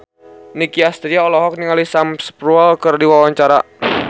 Nicky Astria olohok ningali Sam Spruell keur diwawancara